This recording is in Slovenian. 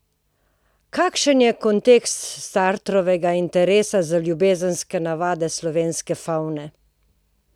Kakšen je kontekst Sartrovega interesa za ljubezenske navade slovenske favne?